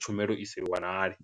tshumelo i sa i wanale.